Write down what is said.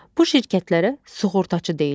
Bu şirkətlərə sığortaçı deyilir.